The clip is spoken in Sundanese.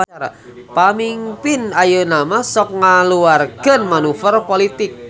Pamingpin ayeunamah sok ngaluarkeun manuver politik